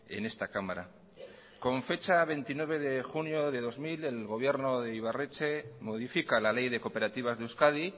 en esta cámara con fecha veintinueve de junio de dos mil el gobierno de ibarretxe modifica la ley de cooperativas de euskadi